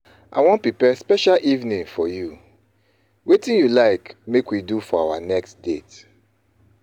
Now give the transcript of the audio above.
I wan prepare special evening for you; wetin you like make we do for our next date?